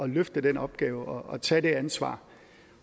løfte den opgave og tage det ansvar